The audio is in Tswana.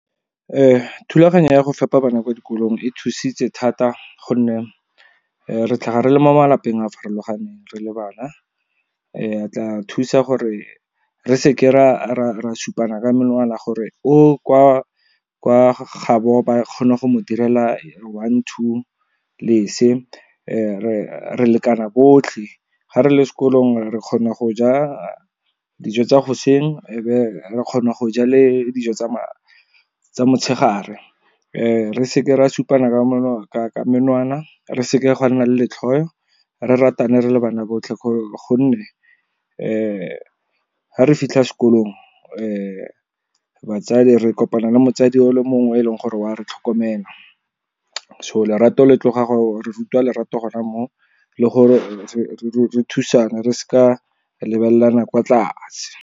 Thulaganyo ya go fepa bana kwa dikolong e thusitse thata, gonne re tlhaga re le mo malapeng a a farologaneng re le bana. E tla thusa gore re seke ra supana ka menwana gore o kwa gaabo ba kgona go mo direla one, two le se. Re lekana botlhe, ga re le sekolong re kgona go ja dijo tsa goseng, e be re kgone go ja le dijo tsa motshegare. Re seke ra supana menwana, re seke ga nna le letlhoo, re ratane re le bana botlhe, gonne ga re fitlha sekolong re kopana le motsadi o le mongwe e leng gore wa re tlhokomela. So re rutwa lerato gona moo, le gore re thusaneng, re se ka lebelelana kwa tlase.